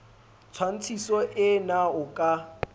tshwantshiso ee na o ka